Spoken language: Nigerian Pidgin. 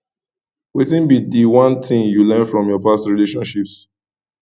wetin be di one thing you learn from your past relationships